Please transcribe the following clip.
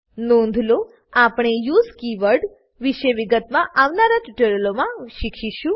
નોંધ લો આપણે યુએસઇ કીવર્ડ વિશે વિગતમાં આવનારા ટ્યુટોરીયલોમાં શીખીશું